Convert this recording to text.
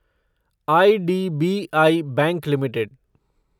IDBI bank limited